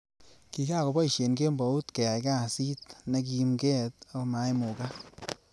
Kikakiboishe kembout keyai lasit nekimget akomoimukak.